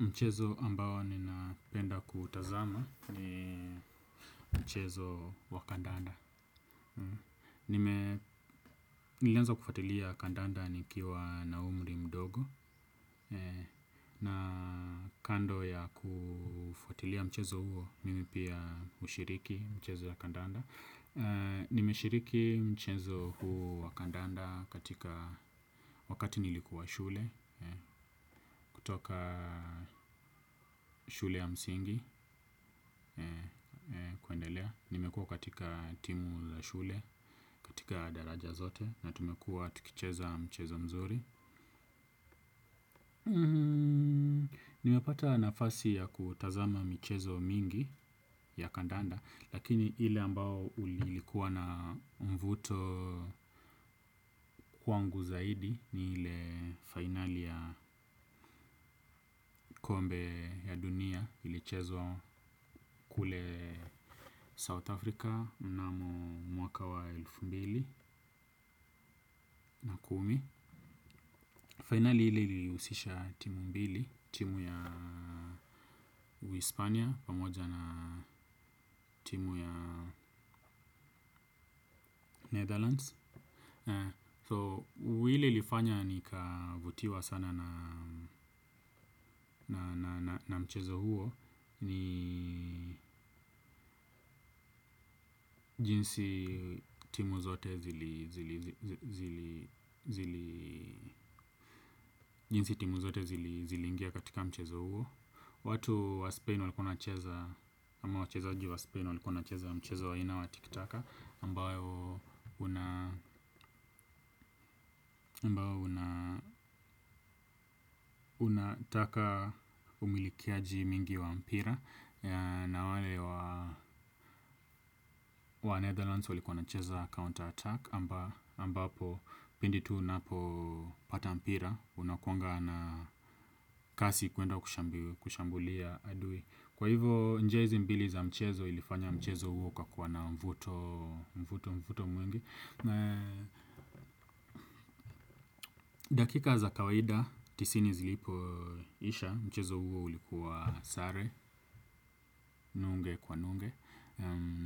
Mchezo ambao ninapenda kutazama ni mchezo wa kandanda. Nilianza kufuatilia Kandanda nikiwa na umri mdogo. Na kando ya kufatilia mchezo huo, mimi pia hushiriki mchezo ya Kandanda. Nimeshiriki mchezo huo wa Kandanda katika wakati nilikuwa shule. Kutoka shule ya msingi. Kuendelea nimekuwa katika timu za shule katika daraja zote na tumekuwa tukicheza mchezo mzuri nimepata nafasi ya kutazama michezo mingi ya kandanda lakini ile ambao ulikuwa na mvuto kwangu zaidi ni ile final ya kombe ya dunia ilichezwa kule South Africa na mwaka wa elfu mbili na kumi. Fainali ile ili husisha timu mbili, timu ya uhispania pamoja na timu ya Netherlands So ile ilifanya nikavutiwa sana na mchezo huo. Ni jinsi timu zote ziliingia katika mchezo huo. Watu wa Spain walikuwa wanacheza ama wachezaji wa spain walikuwa wanacheza mchezo wa ina wa tiki taka ambayo unataka umilikiaji mingi wa mpira na wale wa Netherlands walikuwa cheza counter attack ambapo pindi tu unapopata mpira unakuanga na kasi kuenda kushambulia adui. Kwa hivyo jezi mbili za mchezo ilifanya mchezo huo ukakuwa na mvuto mvuto mwingi. Dakika za kawaida, tisini zilipo isha, mchezo huo ulikuwa sare, nunge kwa nunge.